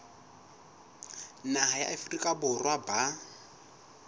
naha ya afrika borwa ba